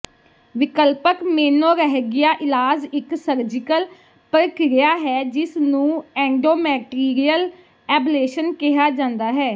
ਵਿਕਲਪਕ menorrhagia ਇਲਾਜ ਇੱਕ surgical ਪ੍ਰਕਿਰਿਆ ਹੈ ਜਿਸ ਨੂੰ ਐਂਡੋਮੈਟਰੀਅਲ ਐਬਲੇਸ਼ਨ ਕਿਹਾ ਜਾਂਦਾ ਹੈ